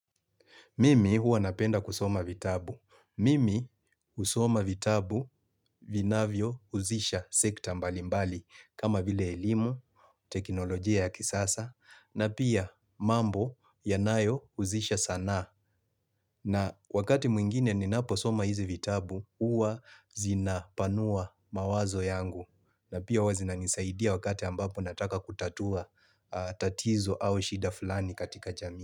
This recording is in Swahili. Mimi huwa napenda kusoma vitabu. Mimi usoma vitabu vinavyouzisha sekta mbali mbali kama vile elimu, teknolojia ya kisasa na pia mambo yanayo uzisha sana na wakati mwingine ninapo soma hizi vitabu huwa zinapanua mawazo yangu na pia huwa zina nisaidia wakati ambapo nataka kutatua tatizo au shida fulani katika jami.